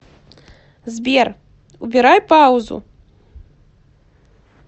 сбер убирай паузу